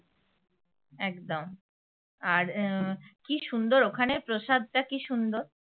একদম আর উম কী সুন্দর ওখানে প্রসাদটা কী সুন্দর।